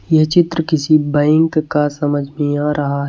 यह चित्र किसी बैंक का समझ में आ रहा है।